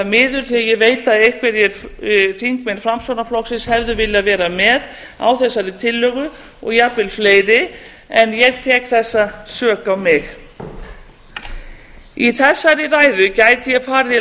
miður því að ég veit að einhverjir þingmenn framsóknarflokksins hefðu viljað vera með á þessari tillögu og jafnvel fleiri en ég tek þessa sök á mig í þessari ræðu gæti ég farið í